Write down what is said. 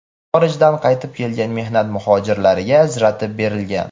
xorijdan qaytib kelgan mehnat muxojirlariga ajratib berilgan.